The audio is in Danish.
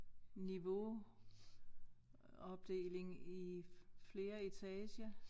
Niveauopdeling i flere etager